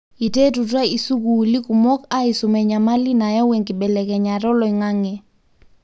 iterutwa isukulii kumok aisum enyamali nayau enkibelekenyata oloingange.